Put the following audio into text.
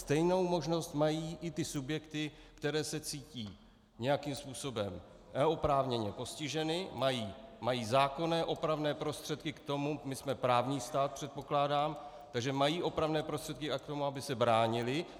Stejnou možnost mají i ty subjekty, které se cítí nějakým způsobem oprávněně postiženy, mají zákonné opravné prostředky k tomu - my jsme právní stát, předpokládám, takže mají opravné prostředky k tomu, aby se bránily.